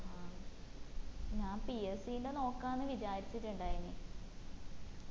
ആ അഹ് ഞാൻ PSC ന്റെ നോക്കന്ന് വിചാരിച്ചിട്ടുണ്ടായിന്